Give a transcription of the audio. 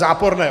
Záporné!